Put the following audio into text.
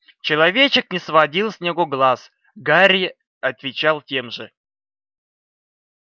человечек не сводил с него глаз гарри отвечал тем же